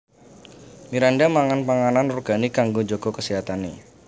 Miranda mangan panganan organik kanggo njaga keséhatane